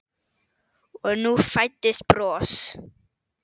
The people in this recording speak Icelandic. Og nú fæddist bros.